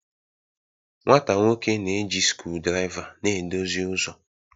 nwata nwoke na-eji screwdriver na-edozi ụzọ